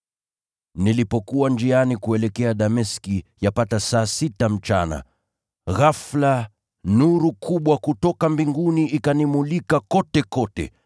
“Nilipokuwa njiani kuelekea Dameski, yapata saa sita mchana, ghafula nuru kubwa kutoka mbinguni ikanimulika kotekote.